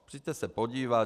Přijďte se podívat.